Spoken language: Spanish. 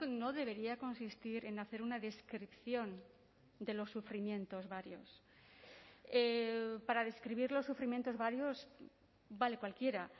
no debería consistir en hacer una descripción de los sufrimientos varios para describir los sufrimientos varios vale cualquiera